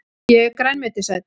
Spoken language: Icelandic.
Ég er grænmetisæta!